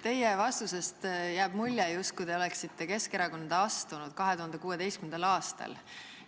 Teie vastusest jääb mulje, justkui te oleksite Keskerakonda astunud 2016. aastal